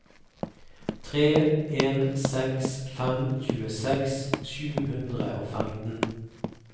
tre en seks fem tjueseks sju hundre og femten